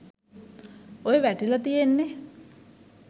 ඔය වැටිල තියෙන්නෙ.